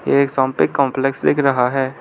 एक पे कॉम्प्लेक्स दिख रहा है।